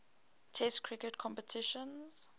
test cricket competitions